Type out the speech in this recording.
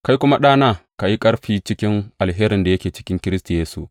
Kai kuma, ɗana, ka yi ƙarfi cikin alherin da yake cikin Kiristi Yesu.